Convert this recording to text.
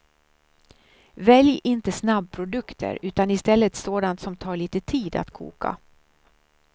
Välj inte snabbprodukter utan istället sådant som tar lite tid att koka.